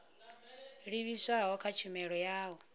livhiswaho kha tshumelo ya u